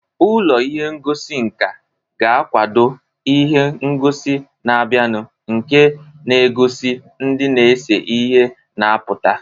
Ụlọ ihe ngosi nka ga-akwado ihe ngosi na-abịanụ nke na-egosi ndị na-ese ihe na-apụta.